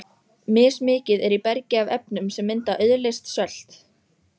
Mismikið er í bergi af efnum sem mynda auðleyst sölt.